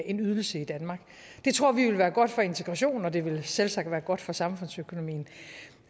en ydelse i danmark det tror vi vil være godt for integrationen og det vil selvsagt være godt for samfundsøkonomien